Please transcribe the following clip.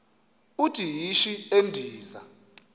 uthi yishi endiza